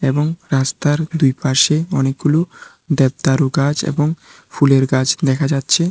এবং রাস্তার দুইপাশে অনেকগুলি দ্যাবদারু গাছ এবং ফুলের গাছ দেখা যাচ্ছে।